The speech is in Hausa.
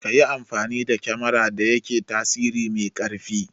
Kayi amfani da kemarar da yake tasiri mai ƙarfi